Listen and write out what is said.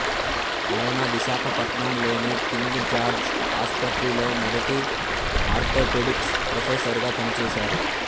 ఆయన విశాఖపట్నం లోని King George ఆసుపత్రిలో మొదతి ఆర్తోపెడిక్స్ ప్రొఫెసరుగా పనిచేసారు